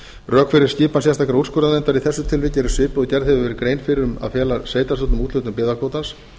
rök fyrir skipan sérstakrar úrskurðarnefndar í þessu tilviki eru svipuð og gerð hefur verið grein fyrir um að fela sveitarstjórnum úthlutun byggðakvótans